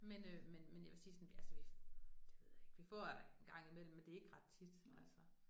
Men øh men men jeg vil sige sådan altså vi det ved jeg ikke vi får en gang i mellem, men det ikke ret tit altså